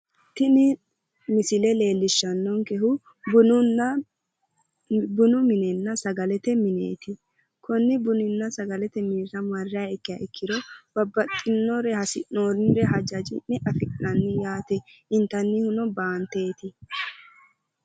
Tini misile leellishshannonkehu bunu minenna sagalete mineeti konni buninna sagalete minira marriha ikkiha ikkiro babbaxxinore hasi'noonnnire hajaccine afi'nanni yaate intannihuno baanteeti